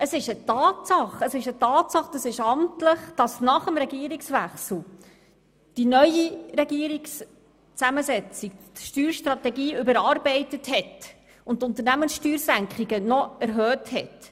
Es ist eine Tatsache und amtlich, dass nach dem Regierungswechsel in der neuen Regierungszusammensetzung die Steuerstrategie überarbeitet und die Unternehmenssteuersenkung noch verstärkt worden ist.